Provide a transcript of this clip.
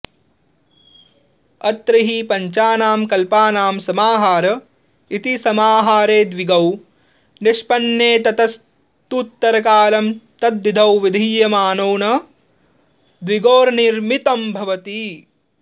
अत्र हि पञ्चानां कपालानां समाहार इति समाहारे द्विगौ निष्पन्ने ततस्तूत्तरकालं तद्धितो विधीयमानो न द्विगोर्निमित्तं भवति